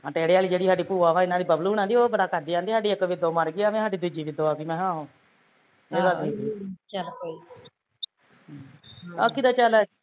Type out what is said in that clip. ਆਹ ਟੇੜੇ ਆਲੀ ਜਿਹੜੀ ਸਾਡੀ ਭੂਆ ਵਾ ਬੱਬਲੂ ਹੁਣਾ ਦੀ ਉਹ ਬੜਾ ਕਰਦੀ, ਕਹਿੰਦੀ ਸਾਡੀ ਇੱਕ ਵੇਦੋਂ ਮਰਗੀ ਆ, ਕਹਿੰਦੀ ਸਾਡੀ ਦੂਜੀ ਵੇਦੋਂ ਆ ਗਈ ਮੈਂ ਕਿਹਾ ਆਹੋ